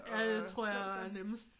Ja det tror jeg er nemmest